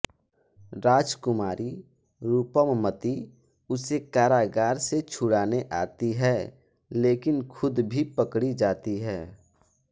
राजकुमारी रूपमती उसे कारागार से छुड़ाने आती है लेकिन ख़ुद भी पकड़ी जाती है